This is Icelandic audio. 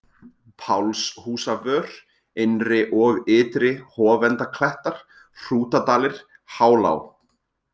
Pálshúsavör, Innri- og Ytri- Hofendaklettar, Hrútadalir, Hálá